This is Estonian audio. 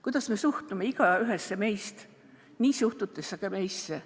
Kuidas me suhtume igaühesse meist, nii suhtutakse ka meisse.